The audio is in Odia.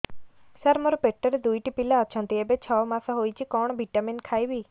ସାର ମୋର ପେଟରେ ଦୁଇଟି ପିଲା ଅଛନ୍ତି ଏବେ ଛଅ ମାସ ହେଇଛି କଣ ଭିଟାମିନ ଖାଇବି